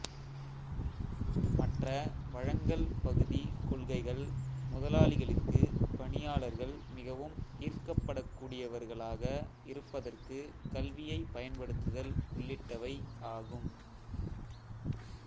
மற்ற வழங்கல் பகுதி கொள்கைகள் முதலாளிகளுக்கு பணியாளர்கள் மிகவும் ஈர்க்கப்படக்கூடியவர்களாக இருப்பதற்கு கல்வியைப் பயன்படுத்துதல் உள்ளிட்டவை ஆகும்